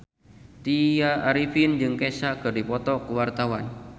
Tya Arifin jeung Kesha keur dipoto ku wartawan